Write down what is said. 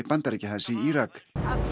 Bandaríkjahers í Írak